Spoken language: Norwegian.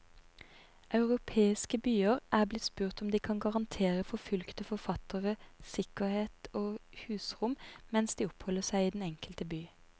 Europeiske byer er blitt spurt om de kan garantere forfulgte forfattere sikkerhet og husrom mens de oppholder seg i den enkelte by.